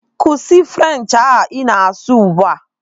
Kwụsị French ahụ ị na-asụ ugbu a!